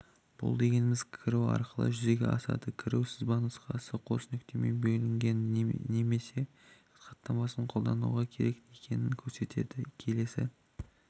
бұл дегеніміз кіру арқылы жүзеге асады кіру сызбанұсқасы қос нүктемен бөлінген және хаттамасын қолдану керек екенін көрсетеді келесі